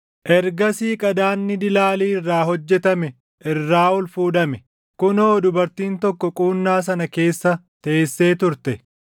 Ergasii qadaadni dilaalii irraa hojjetame irraa ol fuudhame; kunoo dubartiin tokko quunnaa sana keessa teessee turte!